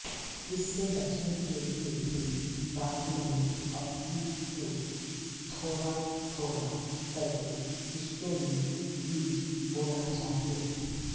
इससे बचने के लिए ही बात नहीं अपितु थोड़ाथोड़ा करके किस्तों में बीज बोना चाहिए